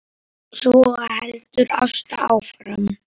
Svo heldur Ásta áfram